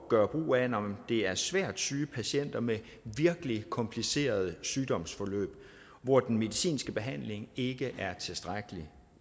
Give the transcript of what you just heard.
gøre brug af når det er svært syge patienter med virkelig komplicerede sygdomsforløb hvor den medicinske behandling ikke er tilstrækkelig